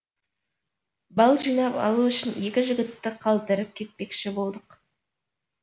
бал жинап алу үшін екі жігітті қалдырып кетпекші болдық